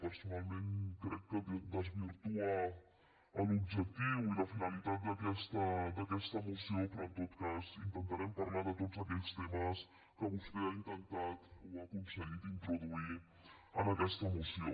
personalment crec que desvirtua l’objectiu i la finalitat d’aquesta moció però en tot cas intentarem parlar de tots aquells temes que vostè ha intentat o ha aconseguit introduir en aquesta moció